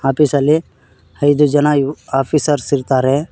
Office ಅಲ್ಲಿ ಐದು ಜನ ಆಫೀಸರ್ಸ್ ಇರ್ತಾರೆ.